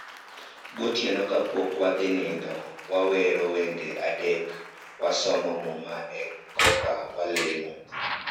Gotieno ka pok wadhi nindo, wawero wende adek., wasomo muma e koka walemo